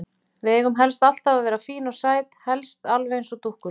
Við eigum helst alltaf að vera fín og sæt, helst alveg eins og dúkkulísur.